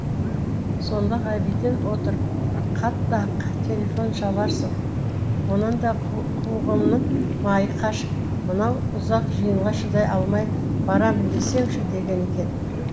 сонда ғабиден отырып қатты ақ телефон шаларсың онанда қу қуығымның майы қашып мынау ұзақ жиынға шыдай алмай барамын десеңші деген екен